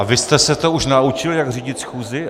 A vy jste se to už naučil, jak řídit schůzi?